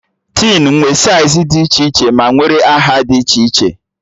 Tin nwe saịz dị iche iche ma nwere aha dị iche iche